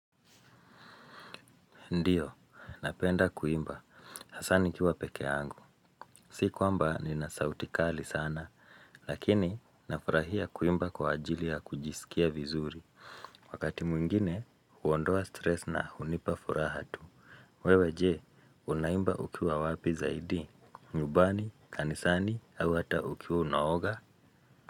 Ndiyo, napenda kuimba, hasaa nikiwa pekee yangu, si kwamba nina sauti kali sana, lakini nafurahia kuimba kwa ajili ya kujisikia vizuri. Wakati mwingine, huondoa stress na hunipa furaha tu. Wewe je, unaimba ukiwa wapi zaidi, nyumbani, kanisani, au hata ukiwa unaoga.